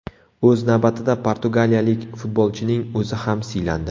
O‘z navbatida portugaliyalik futbolchining o‘zi ham siylandi.